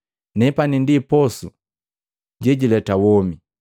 Nepani ndi posu sekileta womi.